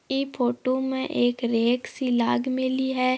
इ फोटो में एक रैंक लग मेली है।